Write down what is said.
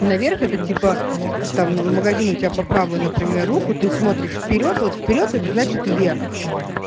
наверх это типа там магазин у тебя по правую например руку ты смотришь вперёд вот вперёд это значит вверх